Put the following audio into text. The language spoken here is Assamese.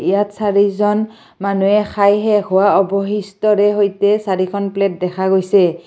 ইয়াত চাৰিজন মানুহে খাই শেষ হোৱা অবশিষ্টৰে সৈতে চাৰিখন প্লেট দেখা গৈছে।